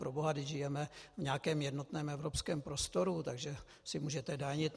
Proboha, vždyť žijeme v nějakém jednotném evropském prostoru, takže si můžete danit.